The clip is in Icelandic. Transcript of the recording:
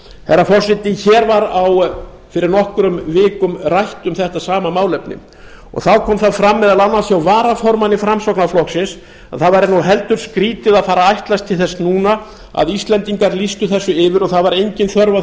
herra forseti hér var fyrir nokkrum vikum rætt um þetta sama málefni þá kom það fram meðal annars hjá varaformanni framsóknarflokksins að það væri heldur skrýtið að fara að ætlast til þess núna að íslendingar lýstu þessu yfir og það væri engin þörf á